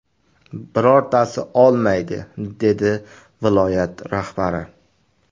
Birortasi olmaydi”, dedi viloyat rahbari.